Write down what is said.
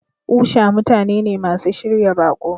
Usha mutane ne masu shirya baƙo.